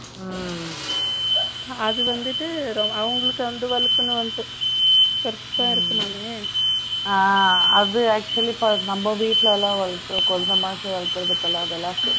அது வந்துட்டு அவங்களுக்கு வந்து வளர்க்கணும் அப்படின்னு பெருசா இருக்குமே அதை actually நம்ம நம்ம வீட்ல எல்லாம் வளர்க்கிறது குழந்தை மாதிரி வளர்க்கிறோம் அதெல்லாம் இருக்கும்